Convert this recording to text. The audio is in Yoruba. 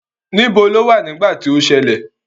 Níbo lo wà nígbà tí ó ṣẹlẹ̀?